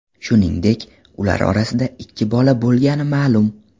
Shuningdek, ular orasida ikki bola bo‘lgani ma’lum.